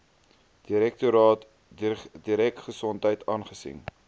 direktoraat dieregesondheid aangesien